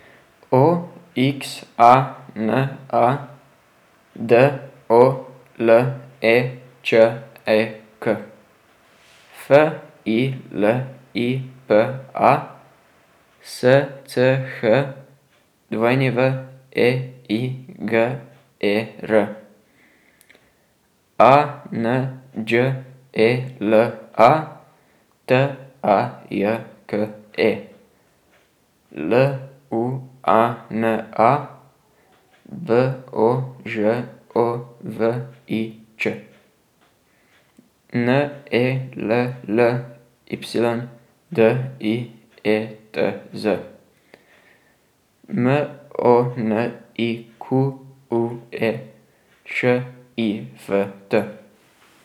O X A N A, D O L E Č E K; F I L I P A, S C H W E I G E R; A N Đ E L A, T A J K E; L U A N A, B O Ž O V I Ć; N E L L Y, D I E T Z; M O N I Q U E, Š I F T.